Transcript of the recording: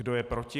Kdo je proti?